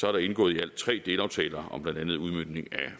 er der indgået i alt tre delaftaler om blandt andet udmøntning af